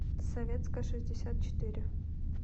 советская шестьдесят четыре